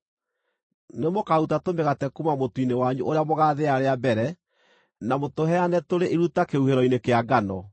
Nĩ mũkaaruta tũmĩgate kuuma mũtu-inĩ wanyu ũrĩa mũgaathĩa rĩa mbere na mũtũheane tũrĩ iruta kĩhuhĩro-inĩ kĩa ngano.